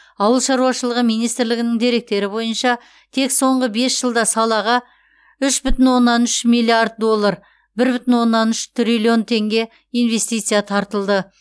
ауыл шаруашылығы министрлігінің деректері бойынша тек соңғы бес жылда салаға үш бүтін оннан үш миллиард доллар бір бүтін оннан үш триллион теңге инвестиция тартылды